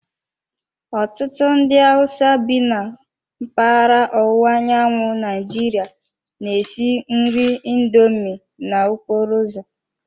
Ọtụtụ ndị Hausa bi na mpaghara ọwụwa anyanwụ Naijiria na-esi nri indomi n'okporo ụzọ.